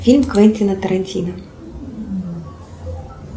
фильм квентина тарантино